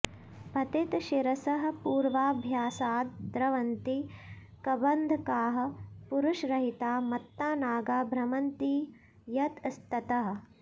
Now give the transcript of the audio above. पतितशिरसः पूर्वाभ्यासाद् द्रवन्ति कबन्धकाः पुरुषरहिता मत्ता नागा भ्रमन्ति यतस्ततः